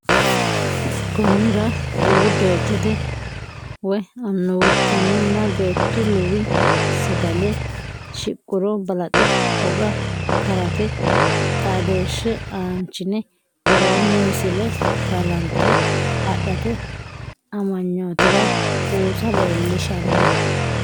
Konnira Luwu doychota woy annunna beettu luwi sagale shiqquro balaxe hoga karate xaadooshshe aanchine worroonni misile balanxe adhate amanyootira buusa leellishshanno.